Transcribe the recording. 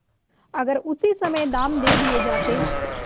अगर उसी समय दाम दे दिये जाते